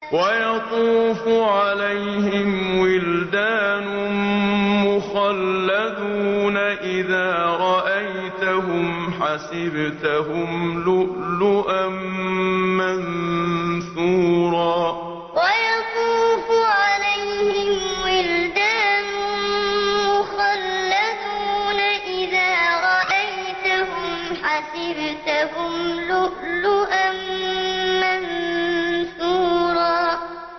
۞ وَيَطُوفُ عَلَيْهِمْ وِلْدَانٌ مُّخَلَّدُونَ إِذَا رَأَيْتَهُمْ حَسِبْتَهُمْ لُؤْلُؤًا مَّنثُورًا ۞ وَيَطُوفُ عَلَيْهِمْ وِلْدَانٌ مُّخَلَّدُونَ إِذَا رَأَيْتَهُمْ حَسِبْتَهُمْ لُؤْلُؤًا مَّنثُورًا